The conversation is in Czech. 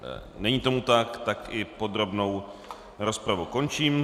Není tomu tak, tak i podrobnou rozpravu končím.